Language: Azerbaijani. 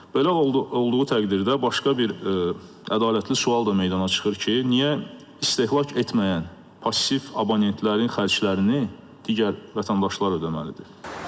Belə olduğu təqdirdə başqa bir ədalətli sual da meydana çıxır ki, niyə istehlak etməyən passiv abonentlərin xərclərini digər vətəndaşlar ödəməlidir?